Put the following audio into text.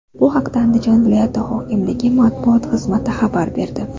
Bu haqda Andijon viloyati hokimligi matbuot xizmati xabar berdi .